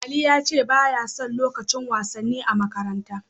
Ali ya ce ba ya son lukacin wasanni a makaranta.